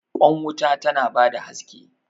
Kwan wuta tana ba da haske.